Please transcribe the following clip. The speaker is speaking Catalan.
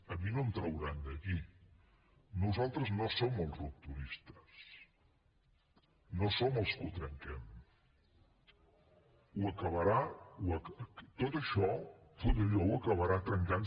a mi no em trauran d’aquí nosaltres no som els rupturistes no som els que ho trenquem tot això ho acabarà trencant